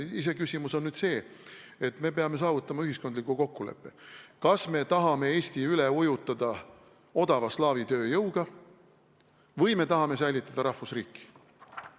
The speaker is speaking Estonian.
Iseküsimus on see, et me peame saavutama ühiskondliku kokkuleppe, kas me tahame Eesti üle ujutada odava slaavi tööjõuga või me tahame säilitada rahvusriiki.